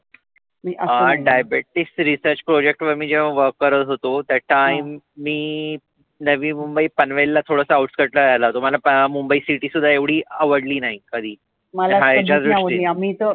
हा diabetic research project वर मी जेव्हा work करत होतो that time मी नवी मुंबई पनवेलला थोडसं outside राहायला आलो. मला मुंबई city आवडली नाही कधी. माझ्या दृष्टीने .